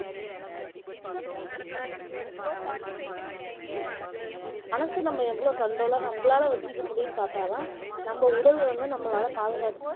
மனசு நம்ம எவ்ளோ control ஆ நம்மளால வச்சுக்க முடியும்ன்னு பாத்தாதான் நம்ம உடல் வந்து நம்மளால பாதுக்காக்க